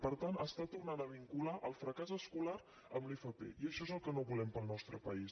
per tant torna a vincular el fracàs escolar a l’fp i això és el que no volem per al nostre país